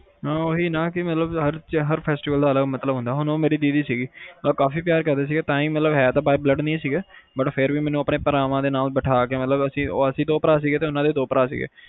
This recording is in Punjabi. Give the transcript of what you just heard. ਹਮ ਓਹੀ ਨਾ ਕਿ ਹਰ festival ਦਾ ਅਲੱਗ ਮਤਲਬ ਹੁੰਦਾ ਜਿਵੇ ਮੇਰੀ ਓਹੋ ਦੀਦੀ ਸੀਗੀ ਕਾਫੀ ਪਿਆਰ ਕਰਦੇ ਸੀਗੇ, ਤਾਹਿ by blood ਨਹੀਂ ਸੀਗੇ ਪਰ ਫੇਰ ਵੀ ਉਹਨੇ ਆਪਣੇ ਭਰਾਵਾਂ ਨਾਲ ਬਿਠਾ ਕੇ ਅਸੀਂ ਦੋ ਭਰਾ ਸੀਗੇ ਓਹਦੇ ਆਪਣੇ ਦੋ ਭਰਾ ਸੀਗੇ